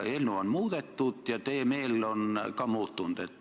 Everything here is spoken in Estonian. Nüüd on eelnõu muudetud ja teie meel on ka muutunud.